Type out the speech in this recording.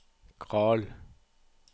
Carl